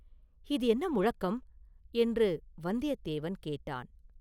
“இது என்ன முழக்கம்?” என்று வந்தியத்தேவன் கேட்டான்.